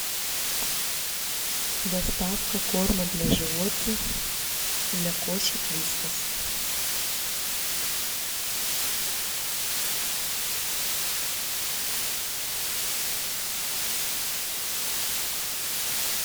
доставка корма для животных для кошек вискас